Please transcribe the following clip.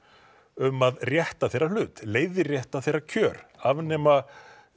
um að rétta þeirra hlut leiðrétta þeirra kjör afnema